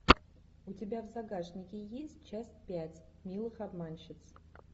у тебя в загашнике есть часть пять милых обманщиц